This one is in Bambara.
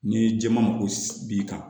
N'i ye jɛman ko b'i kan